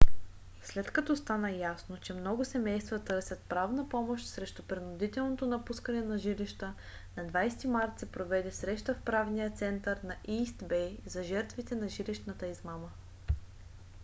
след като стана ясно че много семейства търсят правна помощ срещу принудителното напускане на жилища на 20-и март се проведе среща в правния център на ийст бей за жертвите на жилищната измама